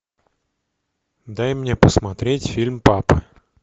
дай мне посмотреть фильм папа